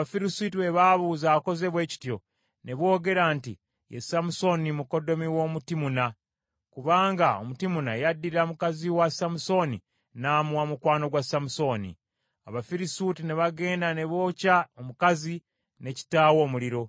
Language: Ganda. Awo Abafirisuuti bwe baabuuza akoze bwe kityo, ne boogera nti, “Ye Samusooni mukoddomi w’Omutimuna, kubanga Omutimuna yaddira mukazi wa Samusooni, n’amuwa mukwano gwa Samusooni.” Abafirisuuti ne bagenda ne bookya omukazi ne kitaawe omuliro.